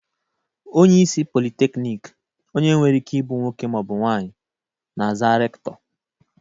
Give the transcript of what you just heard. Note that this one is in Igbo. Onyeisi pọlịteknịk, onye nwekwara Ike ịbụ nwoke ma ọ bụ nwaanyị, na-aza rektọ.